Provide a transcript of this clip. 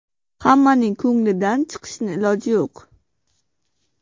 Hammaning ko‘nglidan chiqishni iloji yo‘q.